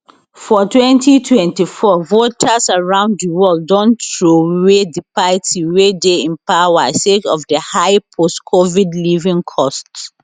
for twenty twenty four voters around di world don throway di party wey dey in power sake of di high post covid living costs